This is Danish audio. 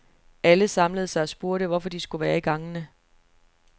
Alle samlede sig og spurgte, hvorfor de skulle være i gangene.